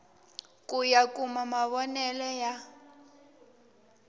ku ya kuma mavonele ya